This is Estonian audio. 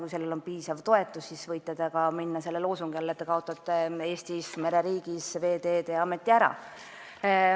Kui sellel on piisav toetus, siis võite esitada loosungi, et te kaotate Eestis, mereriigis, Veeteede Ameti ära.